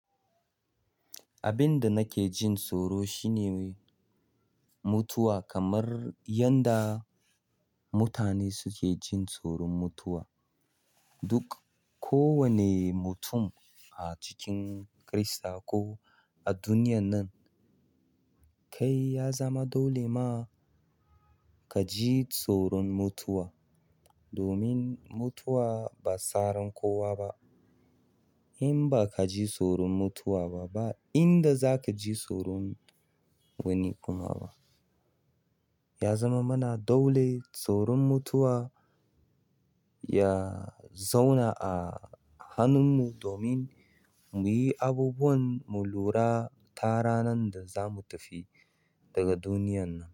Abin da nake jin tsoro shine mutuwa kamar yadda mutane suke jin tsoron mutuwa. Duk kowane mutum a cikin Kirista ko a duniyan nan, kai ya zama dole ma ka ji tsoron mutuwa. Domin mutuwa ba tsaran kowa ba. In ba ka ji tsoron mutuwa ba, ba inda za ka ji tsoron wani kuma ba. Ya zama mana dolo tsoron mutuwa ya zauna a hannun mu domin mu yi abubuwan mu lura ta ranan da zamu tafi daga duniyan nan.